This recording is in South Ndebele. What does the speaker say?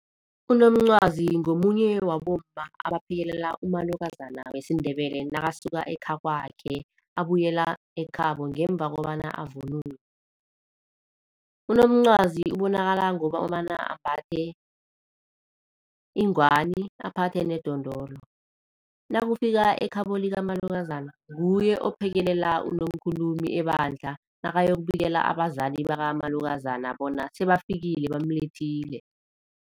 Unomncwazi ngomunye wabomma abaphekelela umalukazana wesiNdebele nakasuka ekhakwakhe abuyela ekhabo ngemva kobana avunule. Unomncwazi ubonakala ngokobana ambathe ingwani aphathe nedondolo. Nakufika ekhabo likamalukazana nguye ophekelela unomkhulumi ebandla nakayokubikela abazali bakamalukazana bona sebafikile bamlethile.